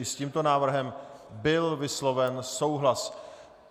I s tímto návrhem byl vysloven souhlas.